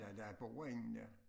Der der bor ingen der